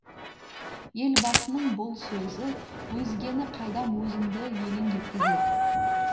елбасының бұл сөзі өзгені қайдам өзімді елең еткізеді